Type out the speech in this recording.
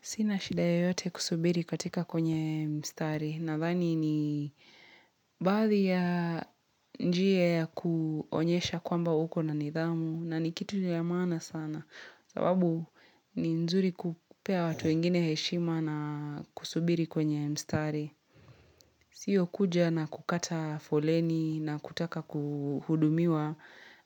Sina shida yoyote kusubiri katika kwenye mstari, nadhani ni baadhi ya njia ya kuonyesha kwamba uko na nidhamu, na ni kitu ya maana sana, sababu ni nzuri kupea watu wengine heshima na kusubiri kwenye mstari. Sio kuja na kukata foleni na kutaka kuhudumiwa,